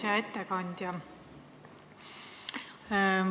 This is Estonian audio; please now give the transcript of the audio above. Hea ettekandja!